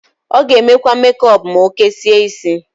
Ọ g'emekwa mekọp m'okesie isi.